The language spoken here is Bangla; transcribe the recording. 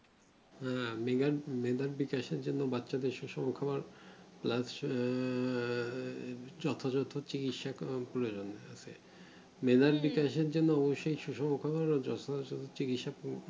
হ্যাঁ বাচ্চা দের সুষম খাবার